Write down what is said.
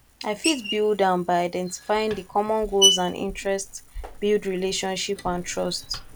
i fit build am by identifying di common goals and interests build relationship and trust